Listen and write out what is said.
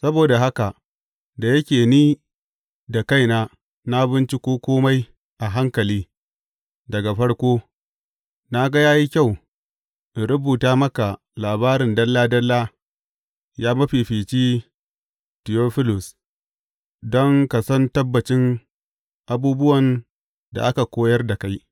Saboda haka, da yake ni da kaina na binciko kome a hankali daga farko, na ga ya yi kyau in rubuta maka labarin dalla dalla, ya mafifici Tiyofilus, don ka san tabbacin abubuwan da aka koyar da kai.